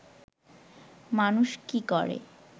মানুষ কি করে